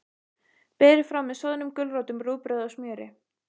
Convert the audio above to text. Berið fram með soðnum gulrótum, rúgbrauði og smjöri.